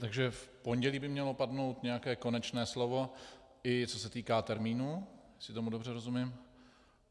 Takže v pondělí by mělo padnout nějaké konečné slovo, i co se týká termínu, jestli tomu dobře rozumím.